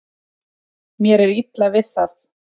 Mér er illa við það.